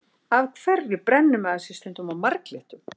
Af hverju brennir maður sig stundum á marglyttum?